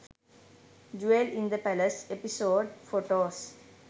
jewel in the palace episode photos